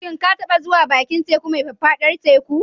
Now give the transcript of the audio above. Shin ka taɓa zuwa bakin teku mai faffadar teku?